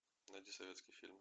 найди советский фильм